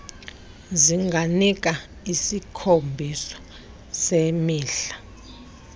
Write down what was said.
zinganika isikhombiso semidla